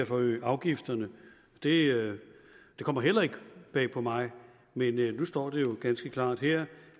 forøge afgifterne det kommer heller ikke bag på mig men nu står det jo ganske klart her